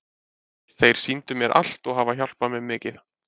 Þeir sýndu mér allt og hafa hjálpað mér mikið.